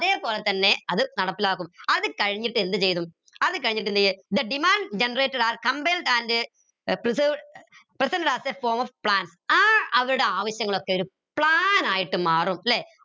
അതേപോലെതന്നെ അത് നടപ്പിലാക്കും അത് കഴിഞ്ഞിട്ട് എന്ത് ചെയ്തു അത് കഴിഞ്ഞിട്ട് എന്തെയും the demand generated are compiled and ഏർ preserved presented as a form of plans ആ അവരുടെ ആവശ്യങ്ങളൊക്കെ ഒരു plan ആയിട്ട് മാറും ല്ലെ